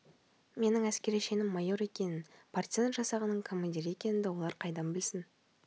менің әскери шенім майор екенін партизан жасағының командирі екенімді олар қайдан білсін